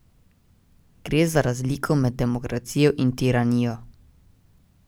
Gre za razliko med demokracijo in tiranijo.